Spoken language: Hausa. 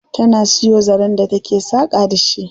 Tana siyo zaren da take saƙa da shi.